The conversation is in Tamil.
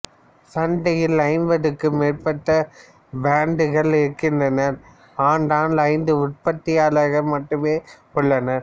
சந்தையில் ஐம்பதுக்கும் மேற்பட்ட பிராண்டுகள் இருக்கின்றன ஆனால் ஐந்து உற்பத்தியாளர்கள் மட்டுமே உள்ளனர்